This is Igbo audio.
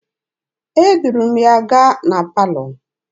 Eduru m ya gaa na palọ.